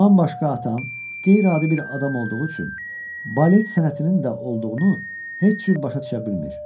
Bundan başqa atam qeyri-adi bir adam olduğu üçün balet sənətinin də olduğunu heç cür başa düşə bilmir.